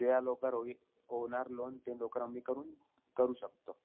लवकर होई होणार loan ते लवकर, आम्ही करून, करू शकतो.